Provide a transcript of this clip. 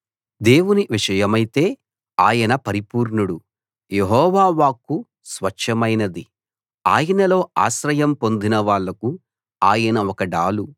దేవుని విషయమైతే ఆయన పరిపూర్ణుడు యెహోవా వాక్కు స్వచ్ఛమైనది ఆయనలో ఆశ్రయం పొందిన వాళ్లకు ఆయన ఒక డాలు